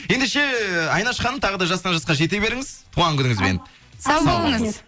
ендеше айнаш ханым тағы да жастан жасқа жете беріңіз туған күніңізбен сау болыңыз